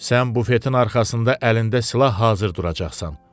Sən bufetin arxasında əlində silah hazır duracaqsan.